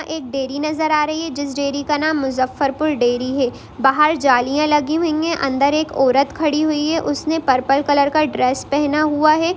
एक डेरी नजर आ रहे हैं जिस डेरी का नाम मुजफ्फरपुर डेरी है| बाहर जालियाँ लगी हुई है| अंदर एक औरत खड़ी हुई है| उसने पर्पल कलर का ड्रेस पहना हुआ हैं।